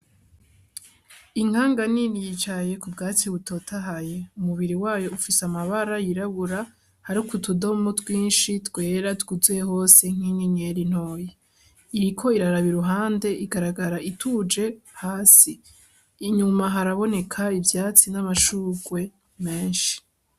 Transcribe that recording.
Inkanga nini yicaye ku bwatsi butotahaye. Umubiri wayo ufise amabara yirabura hariko utudomo twinshi twera twuzuye hose nk'inyenyeri ntoya. Iriko iraraba iruhande, igaragara ituje hasi. Inyuma haraboneka ivyatsi n'amashugwe menshi.